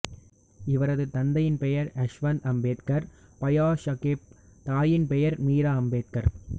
இவரது தந்தையின் பெயர் யஷ்வந்த் அம்பேத்கர் பயாசாகேப் தாயின் பெயர் மீரா அம்பேத்கர்